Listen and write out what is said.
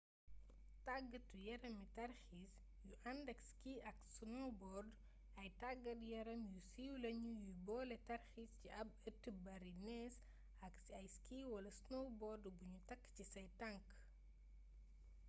tàggatu-yarami tarxiis yu àndak ski ak snowbord ay taggat-yaram yu siiw lañu yuy boole tarxiis ci ab ëtt bari neez ak ay ski wala snowboard buñu takk ci say tank